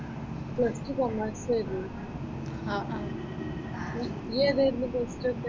Plus two commerce ആയിരുന്നു. നീ ഏതായിരുന്നു പ്ലസ് ടു എടുത്തേ?